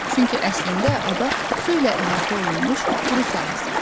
Çünki əslində ada su ilə əhatə olunmuş quru sahəsidir.